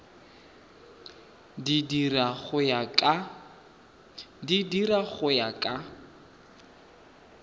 di dira go ya ka